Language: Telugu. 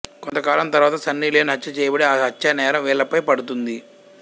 కొంతకాలం తరువాత సన్నీలియోన్ హత్య చేయబడి ఆ హత్యానేరం వీళ్ళపై పడుతుంది